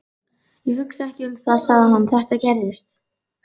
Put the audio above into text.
Ég hugsa ekki um það, sagði hann: Þetta gerðist.